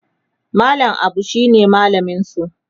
mallam Abu shine mallaminsu